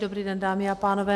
Dobrý den, dámy a pánové.